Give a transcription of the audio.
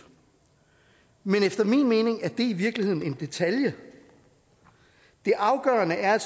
men efter min mening er det i virkeligheden en detalje det afgørende er at